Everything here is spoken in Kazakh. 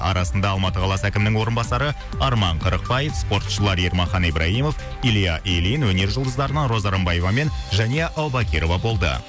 арасында алматы қаласы әкімінің орынбасары арман қырықпаев спортшылар ермахан ибрагимов илья ильин өнер жұлдыздарынан роза рымбаева мен жәния әубакирова болды